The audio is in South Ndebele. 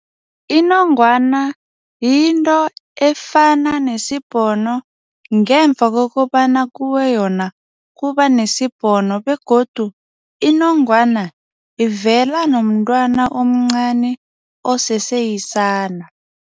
Inongwana yinto efana nesibhono ngemva kokobana kuwe yona, kuba nesibhono begodu inongwana ivela nomntwana omncani oseseyisana.